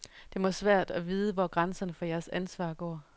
Det må være svært at vide, hvor grænserne for jeres ansvar går.